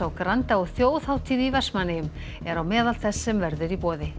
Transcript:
á Granda og þjóðhátíð í Vestmannaeyjum er á meðal þess sem verður í boði